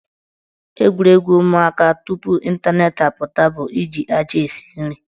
Egwuregwu ụmụaka tupu ịntanetị apụta bụ iji aja na-esi nri.